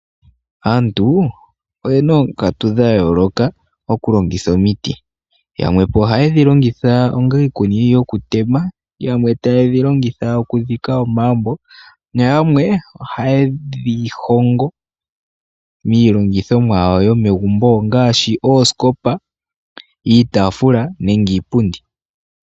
Aantu oyena oonkatu dha yooloka oku longitha omiti. Yamwepo oha ye dhi longitha onga iikuni yoku tema, yamwe taye dhi longitha oku tema omaambo nayamwe oha yedhi hongo miilongithomwa yawo yomegumbo ngaashi ooskopa, iitaafula nenge iipundi.